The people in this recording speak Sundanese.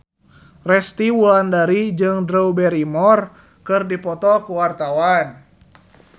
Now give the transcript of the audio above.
Resty Wulandari jeung Drew Barrymore keur dipoto ku wartawan